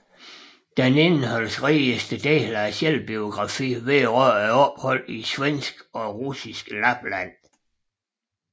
Den indholdsrigeste del af selvbiografien vedrører opholdet i svensk og russisk Lapland